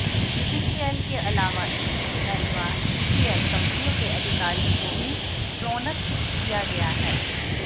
BCCL के अलावा ECL व सीसीएल कंपनियों के अधिकारियों को भी प्रोन्नत किया गया है